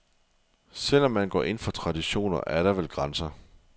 Selv om man går ind for traditioner, er der vel grænser.